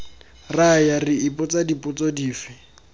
raya re ipotsa dipotso dife